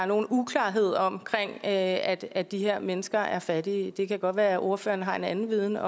nogen uklarhed om at at de her mennesker er fattige det kan godt være konservatives ordfører har en anden viden